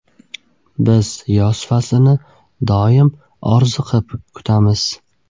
Biz yoz faslini doim orziqib kutamiz.